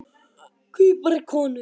Hví bara konur?